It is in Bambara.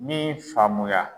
Min faamuya